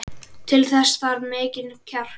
Til þess þarf mikinn kjark.